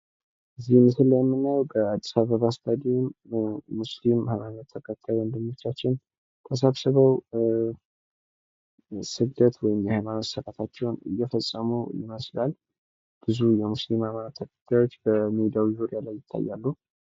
በዚህ ምስል ላይ የምናየው ሙስሊም ሃይማኖት ወገኖቻችን ተሰብስበው ስግደት ወይም ደግሞ የሀይማኖት ስርአትታቸውን እየፈጸሙ ይመስላል። ብዙ የእስልምና ተከታዮች በሜዳው ዙሪያ ላይ ይታያሉ።